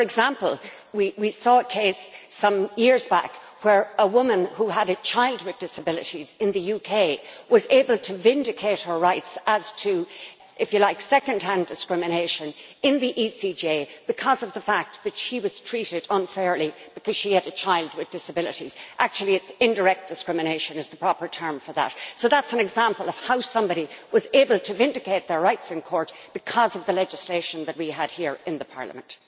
For example, we saw a case some years back where a woman who had a child with disabilities in the UK was able to vindicate her rights as to, if you like, second-hand discrimination, in the ECJ, because of the fact that she was treated unfairly because she had a child with disabilities. Actually indirect discrimination is the proper term for that. So that is an example of how somebody was able to vindicate their rights in court because of the legislation that we had here in the Parliament.